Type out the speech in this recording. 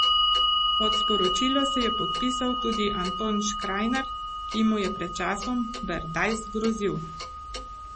Pod sporočilo se je podpisal tudi Anton Škrajnar, ki mu je pred časom Berdajs grozil.